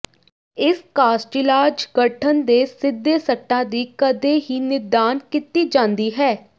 ਇਸ ਕਾਸਟਿਲਾਜ ਗਠਨ ਦੇ ਸਿੱਧੇ ਸੱਟਾਂ ਦੀ ਕਦੇ ਹੀ ਨਿਦਾਨ ਕੀਤੀ ਜਾਂਦੀ ਹੈ